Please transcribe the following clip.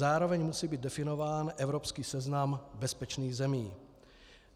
Zároveň musí být definován evropský seznam bezpečných zemí.